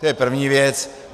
To je první věc.